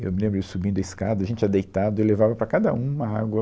Eu me lembro ele subindo a escada, a gente já deitado, ele levava para cada um uma água.